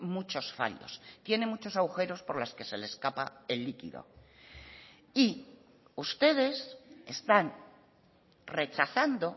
muchos fallos tiene muchos agujeros por las que se le escapa el líquido y ustedes están rechazando